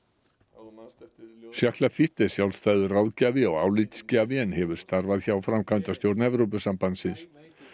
Lafitte er sjálfstæður ráðgjafi og álitsgjafi en hefur starfað hjá framkvæmdastjórn Evrópusambandsins